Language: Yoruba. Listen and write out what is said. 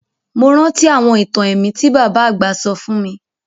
Mo rántí àwọn itan ẹ̀mí ti baba àgbà sọ fun mi